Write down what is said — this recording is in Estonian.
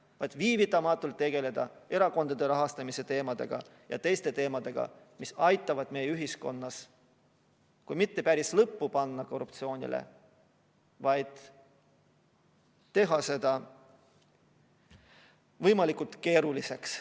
Tuleks viivitamatult tegeleda erakondade rahastamise teemadega ja teiste teemadega, mis aitavad meie ühiskonnas kui mitte päris lõppu teha korruptsioonile, siis vähemalt teha selle võimalikult keeruliseks.